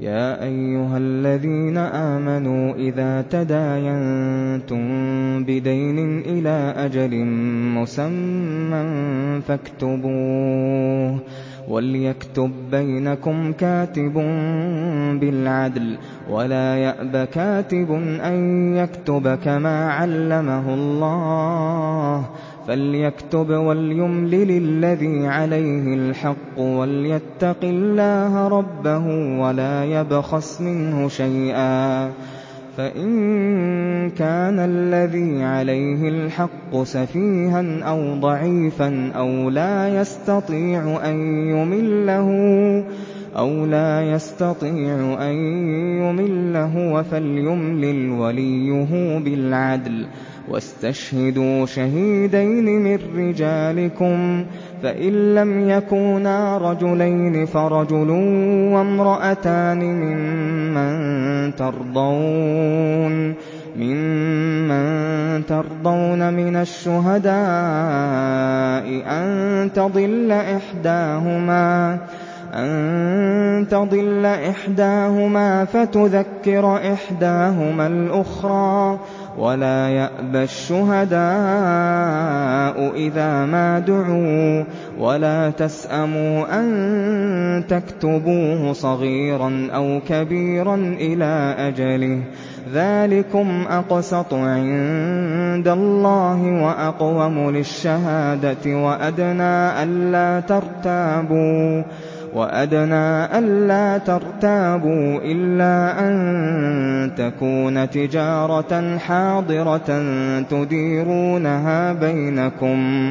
يَا أَيُّهَا الَّذِينَ آمَنُوا إِذَا تَدَايَنتُم بِدَيْنٍ إِلَىٰ أَجَلٍ مُّسَمًّى فَاكْتُبُوهُ ۚ وَلْيَكْتُب بَّيْنَكُمْ كَاتِبٌ بِالْعَدْلِ ۚ وَلَا يَأْبَ كَاتِبٌ أَن يَكْتُبَ كَمَا عَلَّمَهُ اللَّهُ ۚ فَلْيَكْتُبْ وَلْيُمْلِلِ الَّذِي عَلَيْهِ الْحَقُّ وَلْيَتَّقِ اللَّهَ رَبَّهُ وَلَا يَبْخَسْ مِنْهُ شَيْئًا ۚ فَإِن كَانَ الَّذِي عَلَيْهِ الْحَقُّ سَفِيهًا أَوْ ضَعِيفًا أَوْ لَا يَسْتَطِيعُ أَن يُمِلَّ هُوَ فَلْيُمْلِلْ وَلِيُّهُ بِالْعَدْلِ ۚ وَاسْتَشْهِدُوا شَهِيدَيْنِ مِن رِّجَالِكُمْ ۖ فَإِن لَّمْ يَكُونَا رَجُلَيْنِ فَرَجُلٌ وَامْرَأَتَانِ مِمَّن تَرْضَوْنَ مِنَ الشُّهَدَاءِ أَن تَضِلَّ إِحْدَاهُمَا فَتُذَكِّرَ إِحْدَاهُمَا الْأُخْرَىٰ ۚ وَلَا يَأْبَ الشُّهَدَاءُ إِذَا مَا دُعُوا ۚ وَلَا تَسْأَمُوا أَن تَكْتُبُوهُ صَغِيرًا أَوْ كَبِيرًا إِلَىٰ أَجَلِهِ ۚ ذَٰلِكُمْ أَقْسَطُ عِندَ اللَّهِ وَأَقْوَمُ لِلشَّهَادَةِ وَأَدْنَىٰ أَلَّا تَرْتَابُوا ۖ إِلَّا أَن تَكُونَ تِجَارَةً حَاضِرَةً تُدِيرُونَهَا بَيْنَكُمْ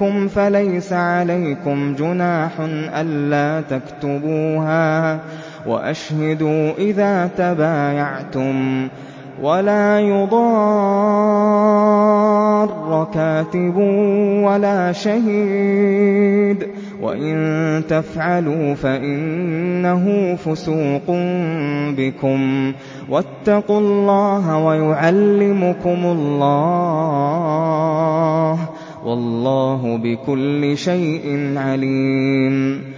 فَلَيْسَ عَلَيْكُمْ جُنَاحٌ أَلَّا تَكْتُبُوهَا ۗ وَأَشْهِدُوا إِذَا تَبَايَعْتُمْ ۚ وَلَا يُضَارَّ كَاتِبٌ وَلَا شَهِيدٌ ۚ وَإِن تَفْعَلُوا فَإِنَّهُ فُسُوقٌ بِكُمْ ۗ وَاتَّقُوا اللَّهَ ۖ وَيُعَلِّمُكُمُ اللَّهُ ۗ وَاللَّهُ بِكُلِّ شَيْءٍ عَلِيمٌ